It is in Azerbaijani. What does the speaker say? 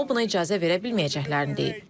O, buna icazə verə bilməyəcəklərini deyib.